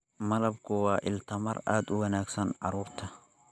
Malabku waa il tamar aad u wanaagsan carruurta.